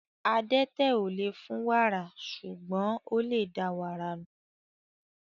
Adẹ́tẹ̀ ò lè fún wàrà, ṣùgbọ́n ó lè da wàrà nù.